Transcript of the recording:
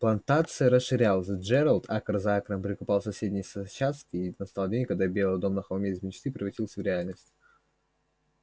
плантация расширялась джералд акр за акром прикупал соседние участки и настал день когда белый дом на холме из мечты превратился в реальность